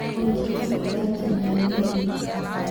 Olkitok tiatua nena melii.